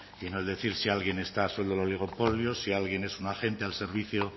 y no el decir si alguien está el oligopolio si alguien es un agente al servicio